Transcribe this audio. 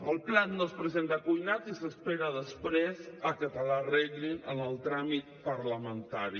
el plat no es presenta cuinat i s’espera després que te l’arreglin en el tràmit parlamentari